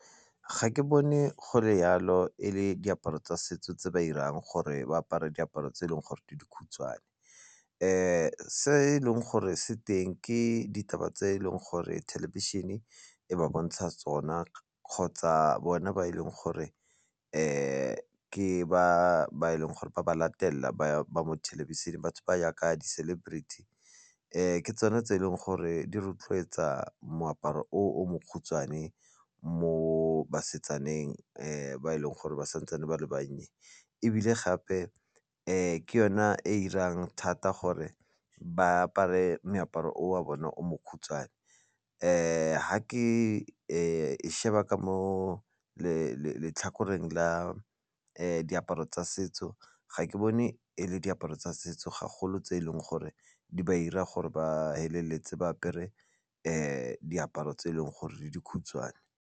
Ga ke bone go le yalo e le diaparo tsa setso tse ba 'irang gore ba apare diaparo tse e leng gore di dikhutshwane, se e leng gore se teng ke ditaba tse eleng gore thelebišene e ba bontsha tsona kgotsa bone ba e leng gore ke ba e leng gore ba ba latelela ba ba mo thelebisheneng batho ba yaka di-celebrity ke tsone tse e leng gore di rotloetsa moaparo o o mokhutswane mo basetsaneng ba e leng gore ba santsane ba le bannye ebile gape ke yona e 'irang thata gore ba apare moaparo o wa bona o mokhutswane ha ke sheba ka mo letlhakoreng la diaparo tsa setso ga ke bone e le diaparo tsa setso gagolo tse eleng gore di ba 'ira gore ba feleletse ba apere diaparo tse e leng gore di dikhutshwane.